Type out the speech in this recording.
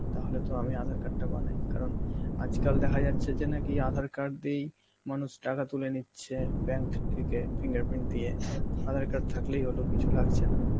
তাহলে তো আমি আধার card টা বানাই কারণ আজকাল দেখা যাচ্ছে যে নাকি আধার card দিয়েই মানুষ টাকা তুলে নিচ্ছে bank থেকে fingerprint দিয়ে, আধার card থাকলেই হল কিছু লাগছে না.